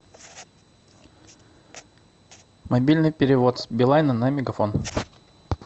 мобильный перевод с билайна на мегафон